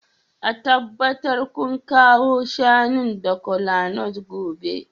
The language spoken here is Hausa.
A tabbatar kun kawo shanun da kolanut gobe